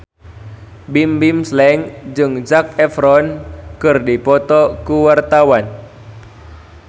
Bimbim Slank jeung Zac Efron keur dipoto ku wartawan